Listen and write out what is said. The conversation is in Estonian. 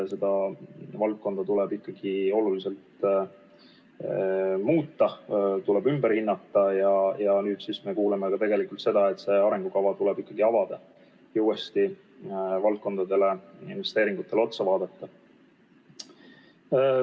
Seda valdkonda tuleb oluliselt muuta, ümber hinnata ja nüüd siis me kuuleme, et arengukava tuleb ikkagi avada ja uuesti valdkondadele ja investeeringutele otsa vaadata.